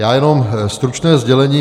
Já jenom stručné sdělení.